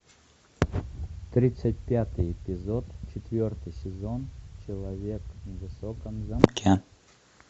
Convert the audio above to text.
тридцать пятый эпизод четвертый сезон человек в высоком замке